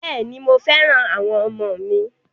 Bẹ́ẹ̀ ni, mo fẹ́ràn àwọn ọmọ mi.